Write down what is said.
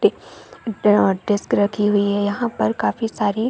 एक hard disk रखी हुई हैं यहाँ पर काफी सारी--